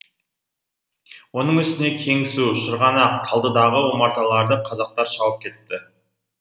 оның үстіне кеңсу шырғанақ талдыдағы омарталарды қазақтар шауып кетіпті